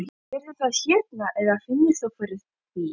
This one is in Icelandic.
Sérðu það hérna eða finnurðu fyrir því?